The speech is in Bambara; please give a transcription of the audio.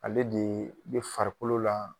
Ale de bɛ farikolo la